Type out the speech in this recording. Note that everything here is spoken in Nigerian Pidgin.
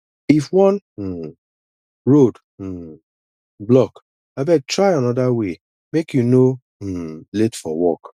if one um road um block abeg try another way make you no um late for work